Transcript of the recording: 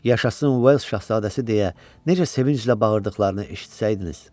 Yaşasın Vell şahzadəsi deyə necə sevinclə bağırdıqlarını eşitsəydiniz!